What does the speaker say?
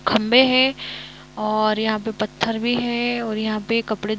खंबे है ओर यहां पे पत्थर भी है और यहां पर कपड़े धोने--